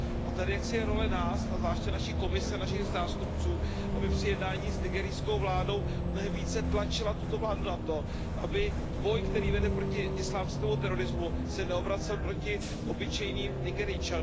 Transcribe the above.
A tady jaksi je role nás a zvláště naší Komise, našich zástupců, aby při jednáních s nigerijskou vládou mnohem více tlačila tuto vládu na to, aby boj, který vede proti islámskému terorismu, se neobracel proti obyčejným Nigerijcům.